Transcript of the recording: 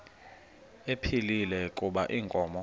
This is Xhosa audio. ephilile kuba inkomo